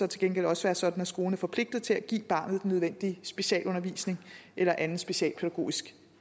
til gengæld også være sådan at skolen er forpligtet til at give barnet den nødvendige specialundervisning eller anden socialpædagogisk